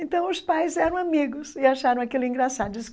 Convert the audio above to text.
Então os pais eram amigos e acharam aquilo engraçado.